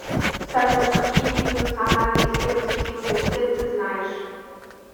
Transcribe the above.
салют какие виды национальный исследовательский университет ты знаешь